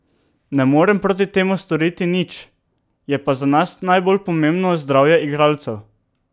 Ne morem proti temu storiti nič, je pa za nas najbolj pomembno zdravje igralcev.